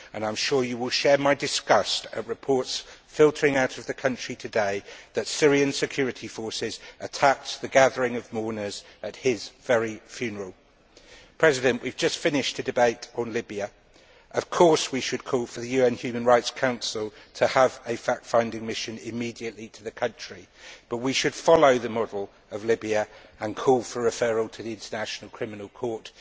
I am sure you will share my disgust at reports filtering out of the country today that Syrian security forces attacked the gathering of mourners at his very funeral. We have just finished a debate on Libya. Of course we should call for the UN Human Rights Council to have a fact finding mission immediately to the country, but we should follow the model of Libya and call for referral to the International Criminal Court.